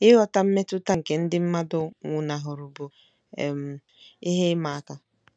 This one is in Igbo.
Ịghọta mmetụta nke ndị mmadụ nwụnahụrụ bụ um ihe ịma aka.